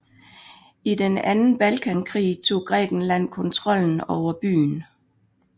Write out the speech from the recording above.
I den anden Balkankrig tog Grækenland kontrollen over byen